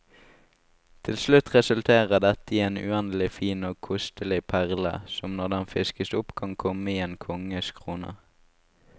Til slutt resulterer dette i en uendelig fin og kostelig perle, som når den fiskes opp kan komme i en konges krone.